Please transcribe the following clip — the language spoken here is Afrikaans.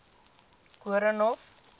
koornhof